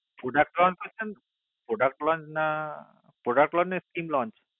product launch না scheme launch